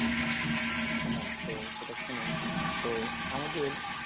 হ্যাঁ তো সেটা শুনুন, তো আমাদের,